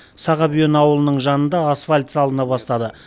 сағабүйен ауылының жанында асфальт салына бастады